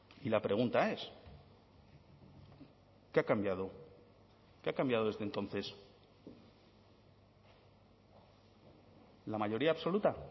y la pregunta es qué ha cambiado qué ha cambiado desde entonces la mayoría absoluta